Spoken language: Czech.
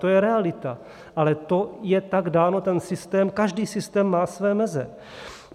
To je realita, ale to je tak dáno, ten systém, každý systém má své meze.